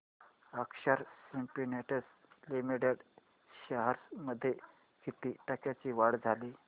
अक्षर Spintex limited shares मध्ये किती टक्क्यांची वाढ झाली